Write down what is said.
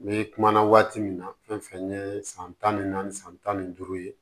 N bɛ kuma na waati min na fɛn fɛn ye san tan ni naani san tan ni duuru ye